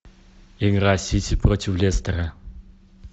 игра сити против лестера